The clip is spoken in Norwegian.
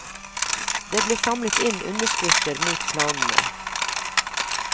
Det ble samlet inn underskrifter mot planene.